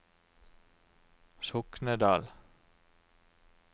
Soknedal